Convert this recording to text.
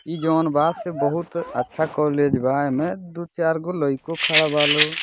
इ जोन बा से बहुत अच्छा कॉलेज बा एमे दू चार गो लाइको खड़ा बालो।